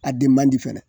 A den man di fɛnɛ